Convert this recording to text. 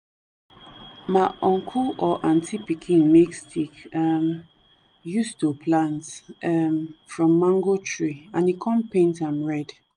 ma uncle or aunty pikin make stick um use to plant um from mango tree and e kon paint am red